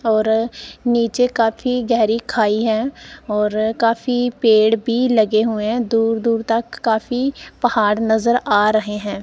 और नीचे काफी गहरी खाई है और काफी पेड़ भी लगे हुए है दूर दूर तक काफी पहाड़ नजर आ रहे है।